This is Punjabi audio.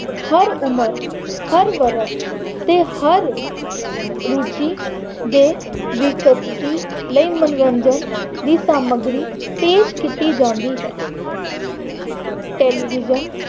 ਹਰ ਉਮਰ, ਹਰ ਵਰਗ ਤੇ ਹਰ ਰੁੱਚੀ ਦੇ ਵਿਅਕਤੀ ਦੀ ਲਈ ਮੰਨੋਰੰਜਨ ਦੀ ਸਾਮੱਗਰੀ ਪੇਸ਼ ਕੀਤੀ ਜਾਂਦੀ ਹੈ। television